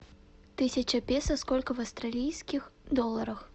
тысяча песо сколько в австралийских долларах